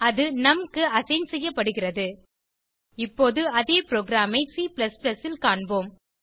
அது நும் க்கு அசைன் செய்யப்பட்டது இப்போது அதே புரோகிராம் ஐ C ல் காண்போம்